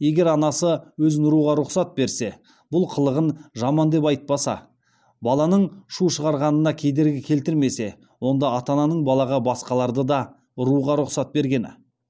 егер анасы өзін ұруға рұқсат берсе бұл қылығын жаман деп айтпаса баланың шу шығарғанына кедергі келтірмесе онда ата ананың балаға басқаларды да ұруға рұқсат бергені